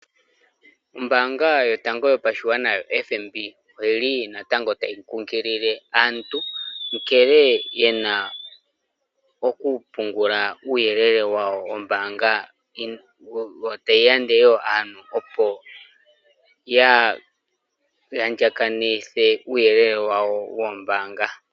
Ombanga yotango yopashigwana ano oFNB oyili natango tayi kunkilile aantu, nkene yena oku pungula uuyelele wawo wombanga, yo tayi londodha aantu kaa ya andjakaneke uuyele wawo wombanga.